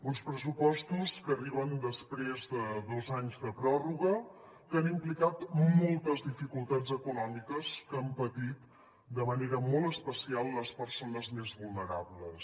uns pressupostos que arriben després de dos anys de pròrroga que han implicat moltes dificultats econòmiques que han patit de manera molt especial les persones més vulnerables